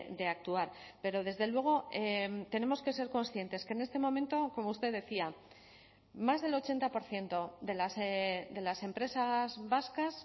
de actuar pero desde luego tenemos que ser conscientes que en este momento como usted decía más del ochenta por ciento de las empresas vascas